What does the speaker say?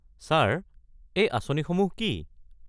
Sir, এই আঁচনিসমূহ কি?